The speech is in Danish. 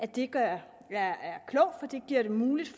det gør det muligt